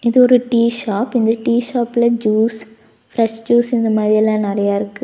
இது ஒரு tea shop இந்த டீ ஷாப்ல ஜூஸ் பிரஷ் ஜூஸ் இந்த மாரி எல்லா நெறையா இருக்கு.